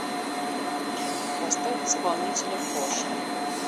поставь исполнителя кошин